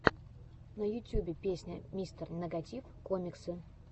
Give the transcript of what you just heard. на ютюбе песня мистер нэгатив коммиксы